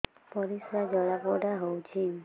ପରିସ୍ରା ଜଳାପୋଡା ହଉଛି